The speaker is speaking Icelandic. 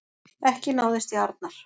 Ekki náðist í Arnar